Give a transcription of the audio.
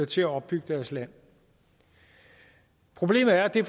til at opbygge deres land problemet er at det